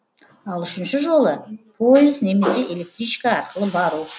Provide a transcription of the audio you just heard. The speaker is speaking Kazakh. ал үшінші жолы пойыз немесе электричка арқылы бару